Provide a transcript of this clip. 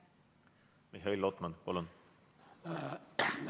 Mihhail Lotman, palun!